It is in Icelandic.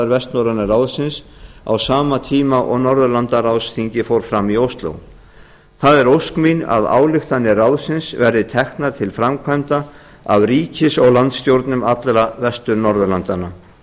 vestnorræna ráðsins á sama tíma og norðurlandaráðsþingið fór fram í ósló það er ósk mín að ályktanir ráðsins verði teknar til framkvæmda af ríkis og landsstjórnum allra vestur norðurlandanna